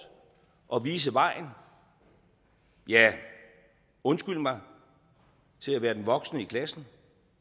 og vise vejen ja undskyld mig til at være den voksne i klassen